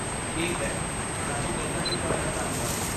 ਠੀਕ ਹੈ, ਸਾਨੂੰ ਦੱਸਣ ਲਈ ਤੁਹਾਡਾ ਧੰਨਵਾਦ।